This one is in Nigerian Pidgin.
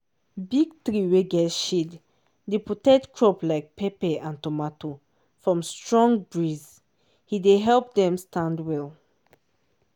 big tree wey get shade dey protect crop like pepper and tomato from strong breeze dey help them stand well